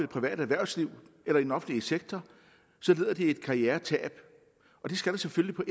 private erhvervsliv eller i den offentlige sektor lider de et karrieretab og det skal der selvfølgelig på